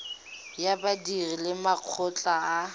ya badiri le makgotla a